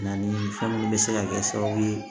Na ni fɛn minnu bɛ se ka kɛ sababu ye